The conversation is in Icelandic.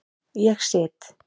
Ég sit.